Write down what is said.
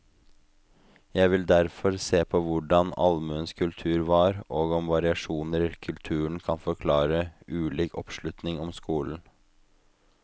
Jeg vil derfor se på hvordan allmuens kultur var, og om variasjoner i kulturen kan forklare ulik oppslutning om skolen.